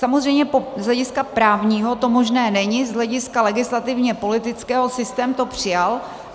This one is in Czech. Samozřejmě z hlediska právního to možné není, z hlediska legislativně politického to systém přijal.